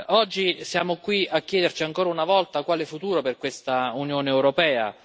Oggi siamo qui a chiederci, ancora una volta, quale futuro per questa Unione europea.